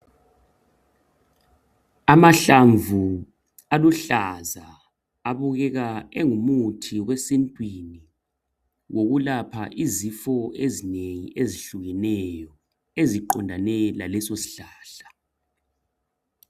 Amahlamvu aluhlaza abukeka engumuthi wesintwini wokulapha izifo ezinengi ezihlukeneyo eziqondane laleso sihlahla.